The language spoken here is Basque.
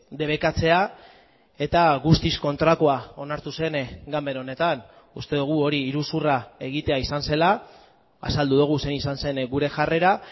debekatzea eta guztiz kontrakoa onartu zen ganbara honetan uste dugu hori iruzurra egitea izan zela azaldu dugu zein izan zen gure jarrera